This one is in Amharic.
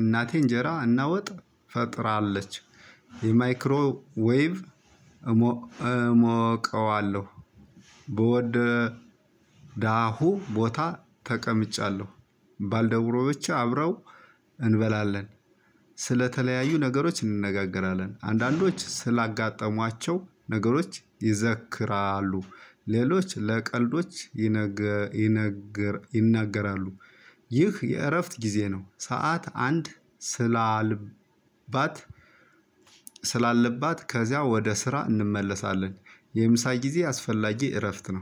እናቴ እንጀራ እና ወጥ ፈጥራለች። የማይክሮ ዌቭ እሞቀዋለሁ። በወደ ዳሁ ቦታ ተቀምጫለሁ። ባልደብሮቼ አብረው እንበላለን ስለተለያዩ ነገሮች እንነጋገራለን አንዳንዶች ስላጋጠሟቸው ነገሮች ይዘክራሉ ሌሎች ለቀልዶች ይነገር ይናገራሉ። ይህ የእረፍት ጊዜ ነው። ሰዓት አንድ ስላለባት ከዚያ ወደ ስራ እንመለሳለን። የምሳ ጊዜ አስፈላጊ እረፍት ነው